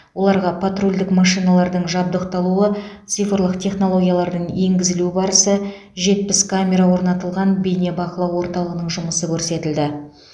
оларға патрульдік машиналардың жабдықталуы цифрлық технологиялардың енгізілу барысы жетпіс камера орнатылған бейнебақылау орталығының жұмысы көрсетілді